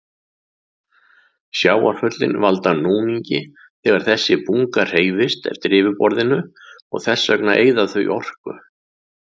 Sjávarföllin valda núningi þegar þessi bunga hreyfist eftir yfirborðinu og þess vegna eyða þau orku.